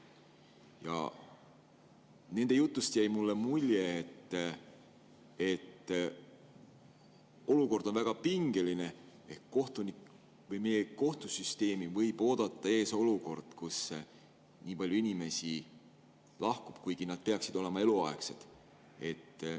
Ja nende jutust jäi mulle mulje, et olukord on väga pingeline, et meie kohtusüsteemi võib oodata ees olukord, kus nii palju inimesi lahkub, kuigi nad peaksid olema eluaegsed.